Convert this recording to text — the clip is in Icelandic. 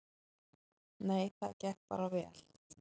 Nei, það gekk bara vel.